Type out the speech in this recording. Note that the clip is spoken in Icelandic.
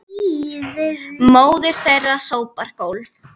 Móðir þeirra sópar gólf